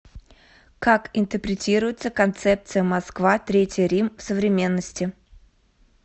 как интерпретируется концепция москва третий рим в современности